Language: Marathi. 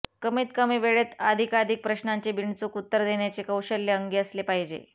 कमीत कमी वेळेत अधिकाधिक प्रश्नांची बिनचूक उत्तरे देण्याचे कौशल्य अंगी असले पाहिजे